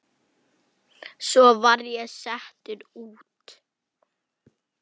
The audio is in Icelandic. Svo var ég settur út.